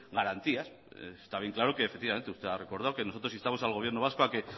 garantías está bien claro que efectivamente usted ha recordado que nosotros instamos al gobierno vasco a que